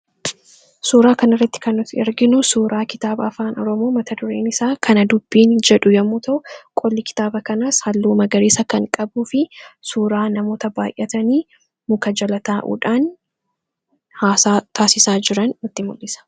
suuraa kana irratti kan nuti erginu suuraa kitaaba afaan aroomoo mata dureen isaa kana dubbiin jedhu yommuu ta'u qolli kitaaba kanaas halluu magariisa kan qabuu fi suuraa namoota baay'atanii muka jala taa'uudhaan haasaa taasisaa jiran nutti mul'isa.